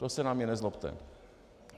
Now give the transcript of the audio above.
To se na mě nezlobte.